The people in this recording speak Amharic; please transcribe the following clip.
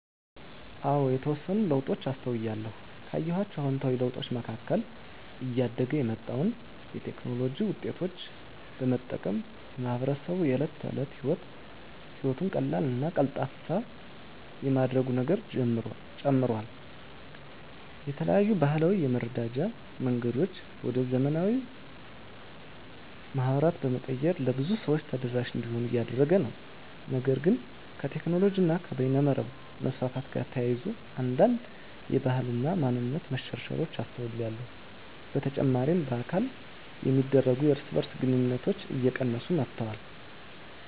አዎ የተወሰኑ ለውጦችን አስተውያለሁ። ካየኋቸው አዉንታዊ ለውጦች መካከል እያደገ የመጣውን የቴክኖሎጂ ዉጤቶች በመጠቀም ማህበረሰቡ የእለት ተለት ህይወቱን ቀላልና ቀልጣፋ የማድረግ ነገሩ ጨምሯል። የተለያዩ ባህላዊ የመረዳጃ መንገዶችን ወደ ዘመናዊ ማህበራት በመቀየር ለብዙ ሰው ተደራሽ እንዲሆኑ እያደረገ ነው። ነገር ግን ከቴክኖሎጂ እና በይነመረብ መስፋፋት ጋር ተያይዞ አንዳንድ የባህል እና ማንነት መሸርሸሮች አስተውያለሁ። በተጨማሪ በአካል የሚደረጉ የእርስ በእርስ ግንኙነቶች እየቀነሱ መጥተዋል።